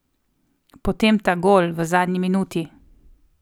Potem ta gol, v zadnji minuti.